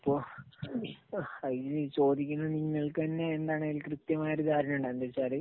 ഇപ്പൊ എഹ് ഈ ചോദിക്കുന്ന നിങ്ങൾക്കുതന്നെ എന്താണ് കൃത്യമായിട്ട് ഒരു ധാരണയുണ്ടാകും. എന്താണെന്നുവെച്ചാല്